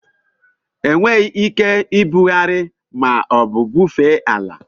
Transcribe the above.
Enweghị ike ibugharị ma ọ bụ bufee ala.